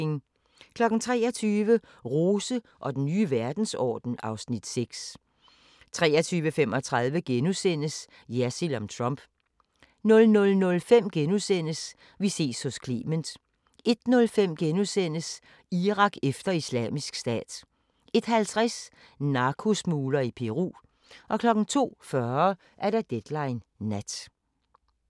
23:00: Rose og den nye verdensorden (Afs. 6) 23:35: Jersild om Trump * 00:05: Vi ses hos Clement * 01:05: Irak efter Islamisk Stat * 01:50: Narkosmugler i Peru 02:40: Deadline Nat